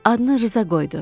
Adını Rza qoydu.